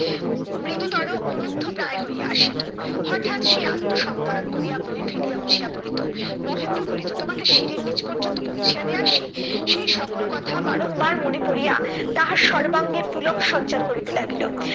মৃদুতর অনুদ্ধপ্রায় হইয়া আসিত। হটাৎ সে আত্মসংবরণ করিয়া বই ফেলিয়া উঠিয়া পরিতো। মহেন্দ্র বলিত তোমাকে সিঁড়ির নিচ পর্যন্ত পৌঁছিয়া দিয়া আসি? সে সকল কথা বারংবার মনে পড়িয়া তাহার সর্বাঙ্গে পুলক সঞ্চার করিতে লাগিল।